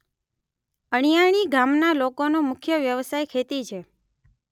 અણીયાળી ગામના લોકોનો મુખ્ય વ્યવસાય ખેતી છે